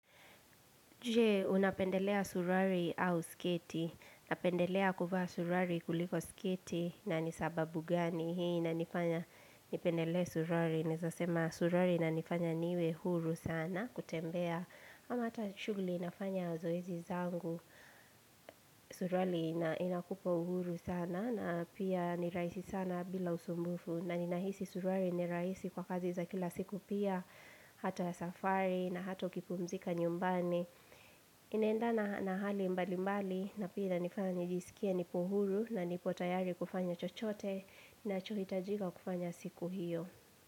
Je, unapendelea suruali au sketi. Napendelea kuvaa suruali kuliko sketi na ni sababu gani. Hii inanifanya nipendelee suruari. Naezasema suruali inanifanya niwe huru sana kutembea. Ama hata shughuli inafanya zoezi zangu. Suruari inakupa uhuru sana. Na pia nirahisi sana bila usumbufu. Na ninahisi surari ni rahisi kwa kazi za kila siku pia. Hata safari na hata ukipumzika nyumbani. Inaendana hali mbali mbali na pia inaifanya nijisikie nipo uhuru na nipo tayari kufanya chochote nacho hitajika kufanya siku hiyo.